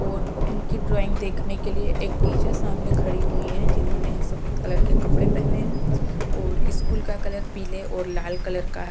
ओर उनकी ड्रॉइंग देखने के लिऐ एक टीचर सामने खड़ी हुई है जिन्होंने सफेद कलर के कपड़े पहने है और इस्कूल का कलर पीले और लाल कलर का ह।